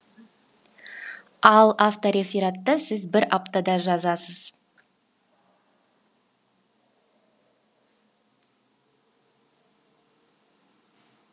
ал авторефератты сіз бір аптада жазасыз